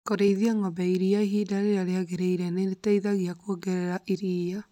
Kũrĩithia ng'ombe ya iria ihinda rĩrĩa rĩagĩrĩire nĩ rĩteithagia kuongerera iria